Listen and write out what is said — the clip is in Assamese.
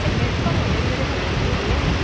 এই bridge খন হলে কিজানি ভাল লাগিব নেকি